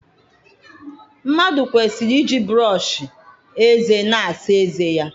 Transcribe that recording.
Mmadụ kwesịrị iji brọsh eze na-asa ezé ya.